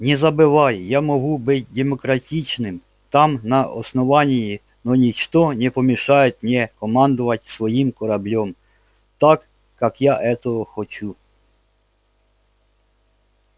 не забывай я могу быть демократичным там на основании но ничто не помешает мне командовать своим кораблём так как я этого хочу